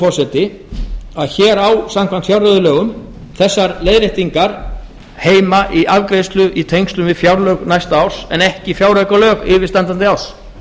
það ítrekað hér að samkvæmt fjárreiðulögum eiga þessar leiðréttingar hins vegar að afgreiðast í tengslum við fjárlög næsta árs en ekki fjáraukalög yfirstandandi árs